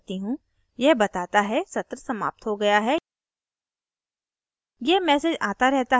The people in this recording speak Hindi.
मैं थोड़ा धीरे टाइप करती हूँ यह बताता है सत्र समाप्त हो गया है